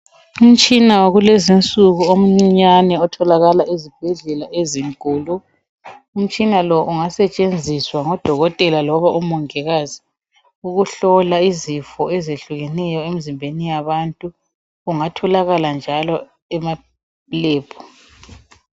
Umtshina wakulezinsuku omncinyane otholakala ezibhedlela ezinkulu. Umtshina lowu ungasetshenziswa ngodokotela loba omongikazi ukuhlola izifo ezehlukeneyo emzimbeni yabantu. Ungatholakala njalo emalebhu.